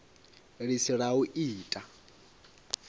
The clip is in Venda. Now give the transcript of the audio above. ḽi si ḽa u ita